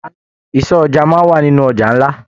Ìsọ̀ ọjà máa n wà nínú ọjà nlá.